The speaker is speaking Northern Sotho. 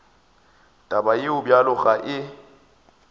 taba ye bjalo ga e